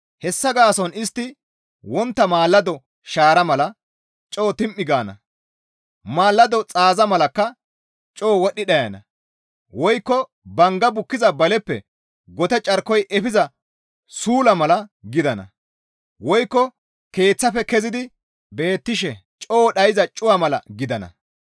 Hessa gaason istti wontta maalado shaara mala coo tim7i gaana; maalado xaaza malakka coo wodhdhi dhayana; woykko bangga bukkiza baleppe gote carkoy efiza suulla mala gidana; woykko keeththafe kezidi beettishe coo dhayza cuwa mala gidana.